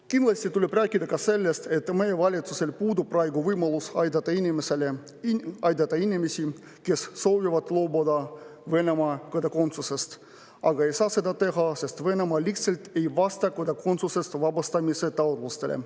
Kindlasti tuleb rääkida ka sellest, et meie valitsusel puudub praegu võimalus aidata inimesi, kes soovivad loobuda Venemaa kodakondsusest, aga kes ei saa seda teha, sest Venemaa lihtsalt ei vasta kodakondsusest vabastamise taotlustele.